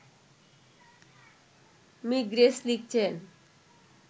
me Grace লিখছেন